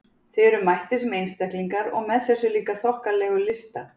Þið eruð mættir sem einstaklingar- og með þessa líka þokkalegu lista!